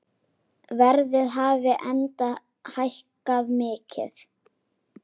Verðið hafi enda hækkað mikið.